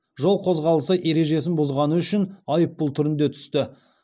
жол қозғалысы ережесін бұзғаны үшін айыппұл түрінде түсті